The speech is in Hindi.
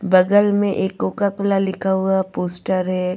बगल में एक कोका कोला लिखा हुआ पोस्टर है.